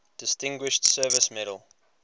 distinguished service medal